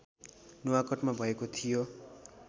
नुवाकोटमा भएको थियो